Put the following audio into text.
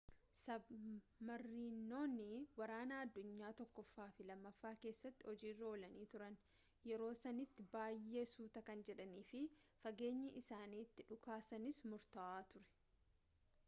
sabmariinonni waraana addunyaa 1ffaa fi 2ffaa keessatti hojiirra oolanii turan yeroo sanitti baay'ee suuta kan jedhaniifi fageenyi isaan itti dhukaasanis murtaawaa ture